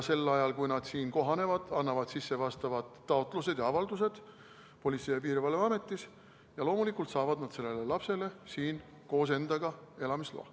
Nad siin kohanevad, annavad sisse vastavad taotlused ja avaldused Politsei- ja Piirivalveametis ja loomulikult saavad nad sellele lapsele siin koos endaga elamisloa.